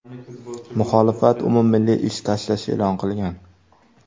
Muxolifat umummilliy ish tashlash e’lon qilgan.